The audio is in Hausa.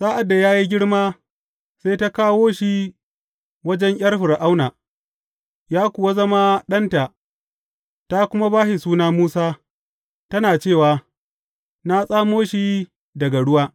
Sa’ad da ya yi girma, sai ta kawo shi wajen ’yar Fir’auna, ya kuwa zama ɗanta, ta kuma ba shi suna Musa, tana cewa, Na tsamo shi daga ruwa.